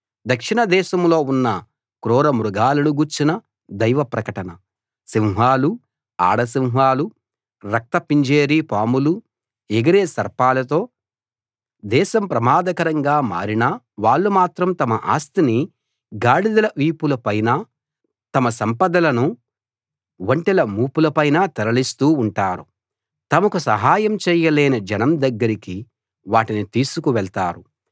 దక్షిణ దేశంలో ఉన్న క్రూరమృగాలను గూర్చిన దైవ ప్రకటన సింహాలూ ఆడ సింహాలూ రక్త పింజేరి పాములూ ఎగిరే సర్పాలతో దేశం ప్రమాదకరంగా మారినా వాళ్ళు మాత్రం తమ ఆస్తిని గాడిదల వీపుల పైనా తమ సంపదలను ఒంటెల మూపుల పైనా తరలిస్తూ ఉంటారు తమకు సహాయం చేయలేని జనం దగ్గరికి వాటిని తీసుకు వెళ్తారు